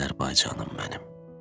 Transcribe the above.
Azərbaycanım mənim.